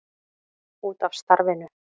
Út af starfinu.